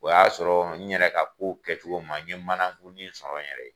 O y'a sɔrɔ n yɛrɛ ka ko kɛcogo ma, n ye manakuni sɔrɔ n yɛrɛ ye.